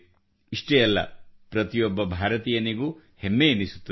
ಇಷ್ಟೇ ಅಲ್ಲ ಪ್ರತಿಯೊಬ್ಬ ಭಾರತೀಯನಿಗೂ ಹೆಮ್ಮೆಯೆನಿಸುತ್ತದೆ